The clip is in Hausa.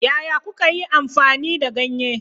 Yaya kuka yi amfani da ganye?